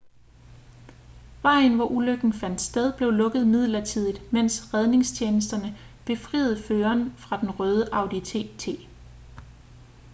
vejen hvor ulykken fandt sted blev lukket midlertidigt mens redningstjenesterne befriede føreren fra den røde audi tt